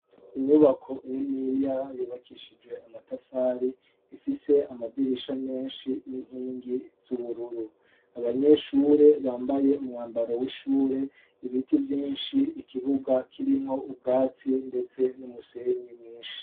Inyubako niniya yubakishijwe amatafari, ifise amadirisha menshi n'inkingi z'ubururu. Abanyeshure bambaye umwambaro w'ishure, ibiti vyinshi, ikibuga kirimwo ubwatsi ndetse n'umusenyi mwinshi.